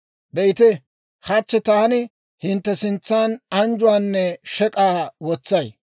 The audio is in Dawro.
«Be'ite, hachchi taani hintte sintsan anjjuwaanne shek'k'aa wotsay.